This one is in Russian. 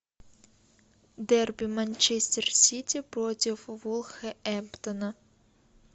дерби манчестер сити против вулверхэмптона